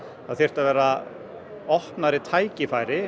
það þyrfti að vera opnari tækifæri